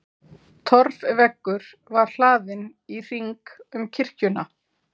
Torfveggur var hlaðinn í hring um kirkjuna.